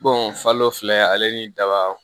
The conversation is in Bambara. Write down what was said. falo filɛ ale ni daba